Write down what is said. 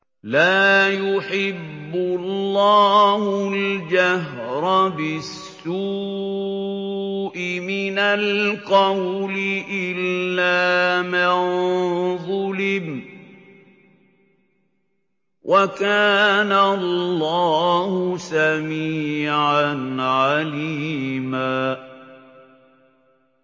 ۞ لَّا يُحِبُّ اللَّهُ الْجَهْرَ بِالسُّوءِ مِنَ الْقَوْلِ إِلَّا مَن ظُلِمَ ۚ وَكَانَ اللَّهُ سَمِيعًا عَلِيمًا